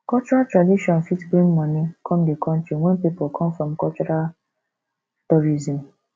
cultural tradition fit bring money come di country when pipo come for cultural tourism